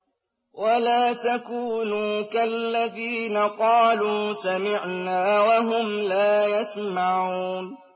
وَلَا تَكُونُوا كَالَّذِينَ قَالُوا سَمِعْنَا وَهُمْ لَا يَسْمَعُونَ